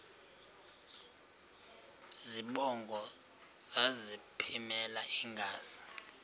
zibongo zazlphllmela engazi